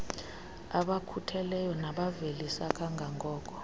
abakhutheleyo nabavelisa kangangoko